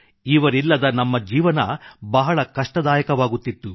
ಇವರಿಲ್ಲದೆ ನಮ್ಮ ಜೀವನ ಬಹಳ ಕಷ್ಟದಾಯಕವಾಗುತ್ತಿತ್ತು